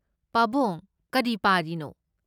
ꯄꯥꯕꯨꯡ ꯀꯔꯤ ꯄꯥꯔꯤꯅꯣ?